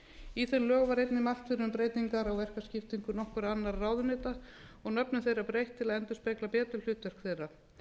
í þeim lögum var einnig mælt fyrir um breytingar á verkaskiptingu nokkurra annarra ráðuneyta og nöfnum þeirra breytt til að endurspegla betur hlutverk þeirra